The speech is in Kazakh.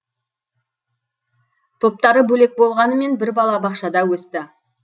топтары бөлек болғанмен бір балабақшада өсті